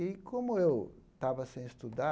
E como eu estava sem estudar,